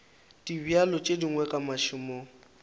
dibjalo tše dingwe ka mašemong